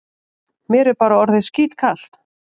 Mér er bara orðið skítkalt.